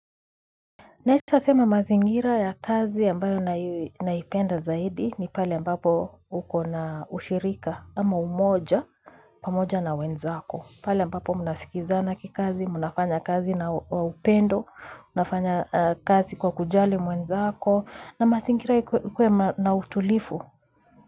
Nasitasema mazingira ya kazi ambayo naipenda zaidi ni pale ambapo uko na ushirika ama umoja, pamoja na wenzako. Pale ambapo munasikizana kikazi, munafanya kazi na upendo, munafanya kazi kwa kujali mwenzako na mazingira ikuwe na utulivu.